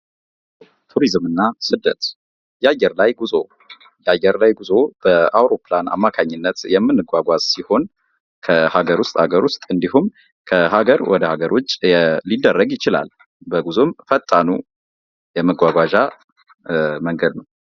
ቱሪዝምና ስደት፦ የአየር ላይ ጉዞ፦ የአየር ላይ ጉዞ በአውሮፕላን አማካኝነት የምንጓጓዝ ሲሆን ከሃገር ውስጥ አገር ውስጥ እንዲሁም ከሃገር ወደ ሀገሮች ሊደረግ ይችላል በጉዞም ፈጣኑ የመጓጓዣ መንገድ ነው።